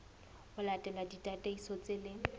ho latela ditataiso tse leng